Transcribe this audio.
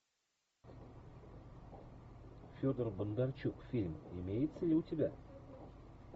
федор бондарчук фильм имеется ли у тебя